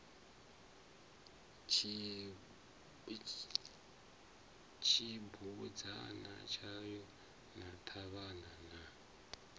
tshibudzana tshayo na ṱhavhana na